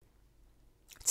TV 2